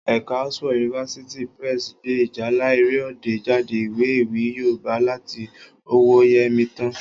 Ẹ̀ka Oxford University Press gbé Ìjálá Èrè Ọdẹ jáde, ìwé ewì Yorùbá láti ọwọ́ọ Yẹmítán